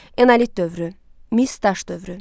Enolit dövrü, mis daş dövrü.